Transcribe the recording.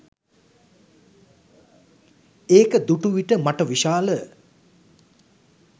ඒක දුටුවිට මට විශාල